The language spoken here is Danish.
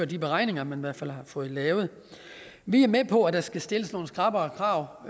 de beregninger man har fået fået lavet vi er med på at der skal stilles nogle skrappere krav